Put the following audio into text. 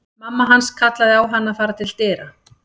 Mamma hans kallaði á hann að fara til dyra.